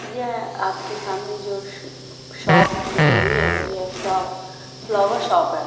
यह आपके सामने जोश शॉप दिख रही है यह शॉप फ्लावर शॉप है।